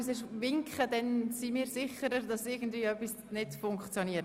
Bitte winken Sie, wenn etwas nicht funktioniert.